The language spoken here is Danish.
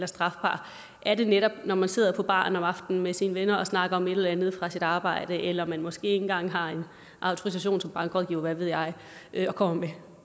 strafbar er det netop når man sidder på baren om aftenen med sine venner og snakker om et eller andet fra sit arbejde eller man måske ikke engang har en autorisation som bankrådgiver eller hvad ved jeg jeg og kommer med